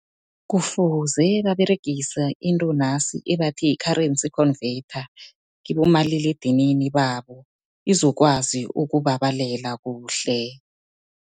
Kufuze baberegise into nasi ebathi yi-currency converter kibomaliledinini babo, izokwazi ukubabalela kuhle.